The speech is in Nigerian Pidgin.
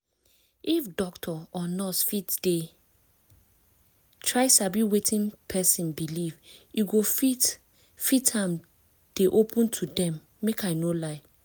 if doctor or nurse fit dey try sabi wetin person believe e go fit fit am dey open to dem make i no lie